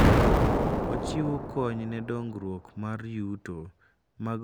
Ochiwo kony ne dongruok mar yuto mag gwenge kokalo kuom ohala.